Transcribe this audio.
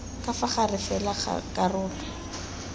ka fa gare fela karolo